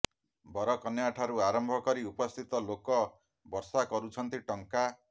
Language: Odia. ବରକନ୍ୟା ଠାରୁ ଆରମ୍ଭ କରି ଉପସ୍ଥିତ ଲୋକ ବର୍ଷା କରୁଛନ୍ତି ଟଙ୍କା